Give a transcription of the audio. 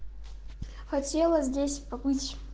хотела здесь побыть